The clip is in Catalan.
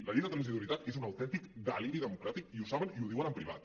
la llei de transitorietat és un autèntic deliri democràtic i ho saben i ho diuen en privat